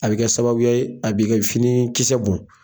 A bi kɛ sababuya ye a bi kɛ finikisɛ bɔn.